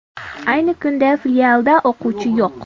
Ayni kunda filialda o‘quvchi yo‘q.